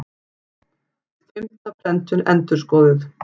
Fimmta prentun endurskoðuð.